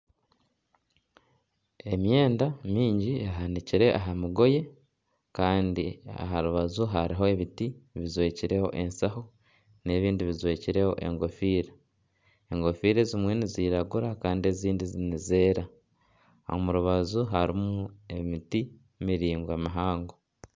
Emyenda mingi ehanikire aha migoye kandi aha rubaju hariho ebiti bijwekireho eshaho n'ebindi bijwekireho ekofiira, ekofiira ezimwe niziragura kandi ezindi nizeera omu rubaju harimu emiti maraingwa mihango.